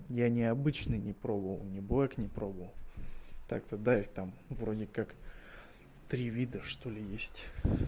я необычный не пробовал не боях не пробовал так-то да и там вроде как три вида что ли есть